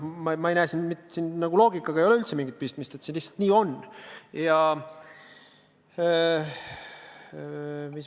Ma ei näe siin loogikaga üldse mingit pistmist, see lihtsalt on nii.